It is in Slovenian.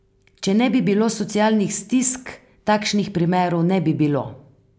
Če ne bi bilo socialnih stisk, takšnih primerov ne bi bilo.